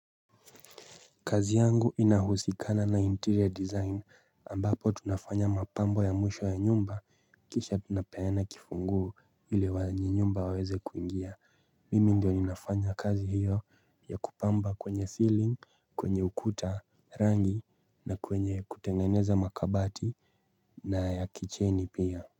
Kazi yangu inahusikana na interior design ambapo tunafanya mapambo ya mwisho ya nyumba kisha tunapeana kifunguo ili wenye nyumba waweze kuingia mimi ndio ninafanya kazi hiyo ya kupamba kwenye ceiling kwenye ukuta rangi na kwenye kutengeneza makabati na ya kicheni pia.